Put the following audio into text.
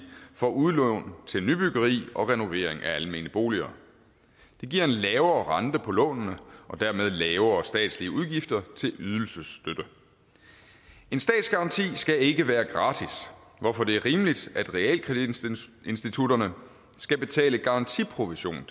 for udlån til nybyggeri og renovering af almene boliger det giver en lavere rente på lånene og dermed lavere statslige udgifter til ydelsesstøtte en statsgaranti skal ikke være gratis hvorfor det er rimeligt at realkreditinstitutterne skal betale garantiprovision